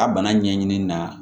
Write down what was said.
A bana ɲɛɲini na